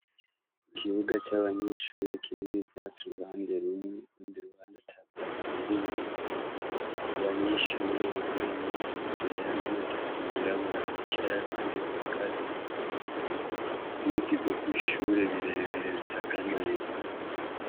Ikibuga c'abanyeshure kirimwo ivyatsi uruhande rumwe urundi ruhande atavyatsi birimwo. Abanyeshure bambaye impuzu zera n'amajipo yirabura bīcara abandi bahagaze. Ibiti vyo kw'ishure bire bire bisaganaye.